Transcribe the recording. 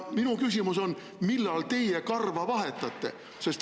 Minu küsimus on: millal teie karva vahetate?